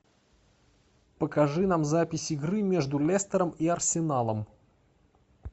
покажи нам запись игры между лестером и арсеналом